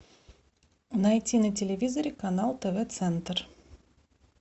найти на телевизоре канал тв центр